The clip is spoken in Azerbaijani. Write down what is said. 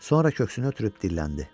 Sonra köksünü ötürüb dilləndi.